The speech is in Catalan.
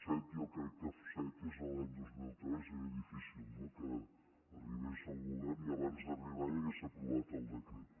set jo crec que set és l’any dos mil tres era difícil no que arribés el govern i abans d’arribar ja hagués aprovat el decret